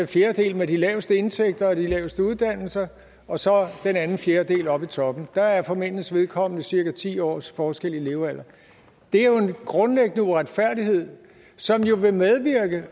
fjerdedel med de laveste indtægter og de laveste uddannelser og så den anden fjerdedel oppe i toppen der er for mændenes vedkommende cirka ti års forskel i levealder det er jo en grundlæggende uretfærdighed som vil medvirke